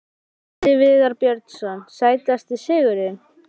Atli Viðar Björnsson Sætasti sigurinn?